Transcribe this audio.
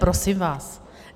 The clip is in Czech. Prosím vás.